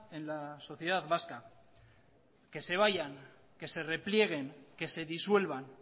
en la sociedad vasca que se vayan que se replieguen que se disuelvan